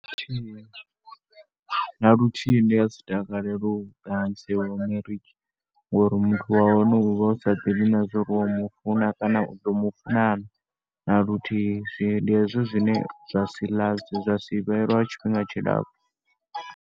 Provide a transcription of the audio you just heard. Na luthihi ndi nga si takalele u marriage ngori muthu wa hone u vha u sa ḓivhi na zwa uri u mu funa kana u ḓo mu funa na, na luthihi. Ndi hezwo zwine zwa si last, zwa si vhe lwa tshifhinga tshilapfhu.